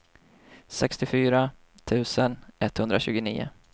sextiofyra tusen etthundratjugonio